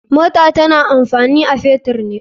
Mota tana amfani a fetur ne.